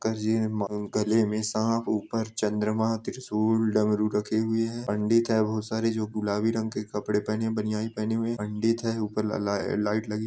गले में सांप ऊपर चन्द्रमा त्रिशूल डमरू रखे हुए हैं पंडित हैं बहुत सारे जो गुलाबी रंग के कपड़े पहने हुए बनियान पहने हुए पंडित हैऊपर ला-लाइट लगी--